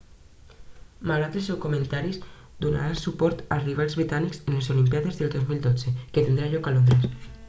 malgrat els seus comentaris donarà suport als rivals britànics a les olimpíades del 2012 que tindran lloc a londres